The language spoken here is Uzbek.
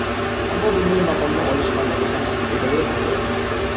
Ammo bunday maqomni olish hammaga ham nasib etavermaydi.